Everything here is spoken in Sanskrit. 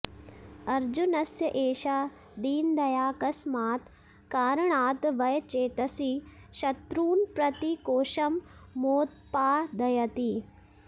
अर्जुनस्य एषा दीनदया कस्मात् कारणात् वय चेतसि शत्रून् प्रति कोषं मोत्पादयति